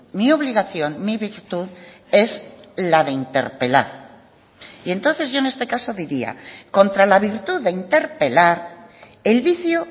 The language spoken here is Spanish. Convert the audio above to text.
mi obligación mi virtud es la de interpelar y entonces yo en este caso diría contra la virtud de interpelar el vicio